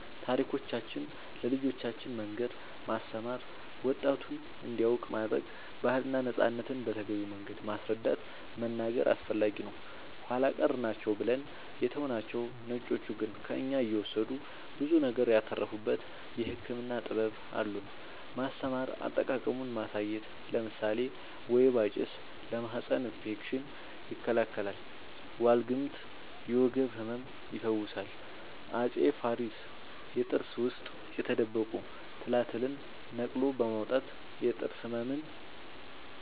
ታሪኮቻችን ለልጆቻን መንገር ማስተማር ወጣቱም እንዲያውቅ ማረግ ባህልና ነፃነትን በተገቢው መንገድ ማስረዳት መናገር አስፈላጊ ነው ኃላ ቀር ናቸው ብለን የተውናቸው ነጮቹ ግን ከእኛ እየወሰዱ ብዙ ነገር ያተረፉበት የህክምና ጥበብ አሉን ማስተማር አጠቃቀሙን ማሳየት ለምሳሌ ወይባ ጭስ ለማህፀን እፌክሽን ይከላከላል ዋልግምት የወገብ ህመም ይፈውሳል አፄ ፋሪስ የጥርስ ውስጥ የተደበቁ ትላትልን ነቅሎ በማውጣት የጥርስ ህመምን